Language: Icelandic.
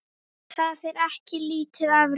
Það er ekki lítið afrek.